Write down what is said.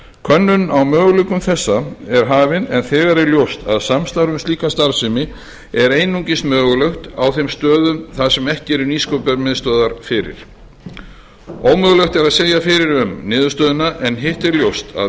könnun á möguleikum þessa er hafin en þegar er ljóst að samstarf um slíka starfsemi er einungis mögulegt á þeim stöðum þar sem ekki eru nýsköpunarmiðstöðvar fyrir ómögulegt er að segja fyrir um niðurstöðuna en hitt er ljóst að